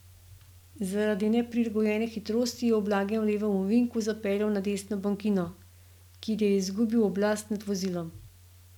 Zaradi neprilagojene hitrosti je v blagem levem ovinku zapeljal na desno bankino, kjer je izgubil oblast nad vozilom.